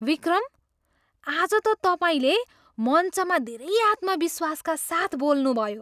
विक्रम! आज त तपाईँले मञ्चमा धेरै आत्मविश्वासका साथ बोल्नुभयो!